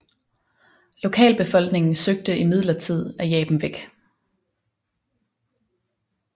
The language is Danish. Lokalbefolkningen søgte imidlertid at jage dem væk